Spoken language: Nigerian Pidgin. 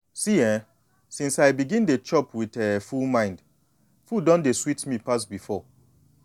see eh since i begin dey chop with um full mind food don dey sweet me pass before.